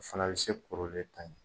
O fana bɛ se kɔrɔlen ta ɲɛ.